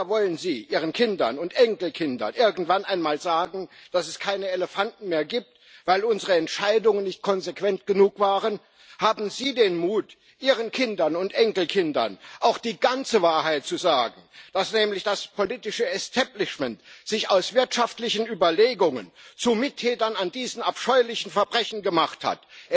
Oder wollen Sie Ihren Kindern und Enkelkindern irgendwann einmal sagen, dass es keine Elefanten mehr gibt, weil unsere Entscheidungen nicht konsequent genug waren? Haben Sie den Mut, Ihren Kindern und Enkelkindern auch die ganze Wahrheit zu sagen, dass nämlich das politische Establishment sich aus wirtschaftlichen Überlegungen zu Mittätern dieser abscheulichen Verbrechen gemacht hat?